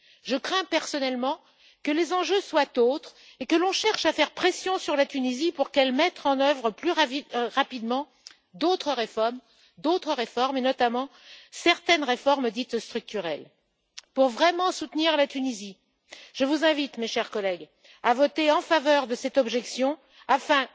Je crains personnellement que les enjeux soient autres et que l'on cherche à faire pression sur la Tunisie pour qu'elle mette en œuvre plus rapidement d'autres réformes, notamment certaines réformes dites structurelles. Pour vraiment soutenir la Tunisie, je vous invite, mes chers collègues, à voter en faveur de cette objection